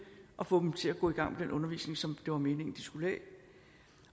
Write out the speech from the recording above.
og få dem til at gå i gang med den undervisning som det var meningen de skulle have